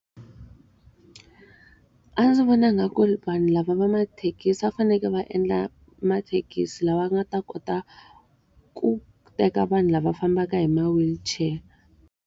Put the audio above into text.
A ndzi vona nga ku vanhu lava va mathekisi a va fanekele va endla mathekisi lama nga ta kota ku teka vanhu lava fambaka hi ma-wheelchair.